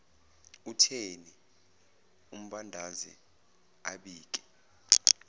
utheni ambandaze abike